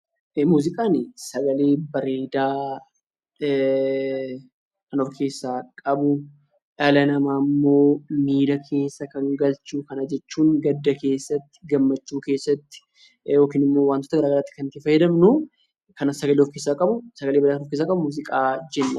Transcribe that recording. Muuziqaan sagalee bareedaa Kan of keessaa qabu, dhala namaa immoo miira keessa Kan galchu, Kana jechuun gadda keessatti, gammachuu keessatti, yookiin immoo wantoota garaagaraatti Kan itti fayyadamnu Kan sagalee of keessaa qabu Kan sagalee bareedu of keessaa qabu muuziqaa jenna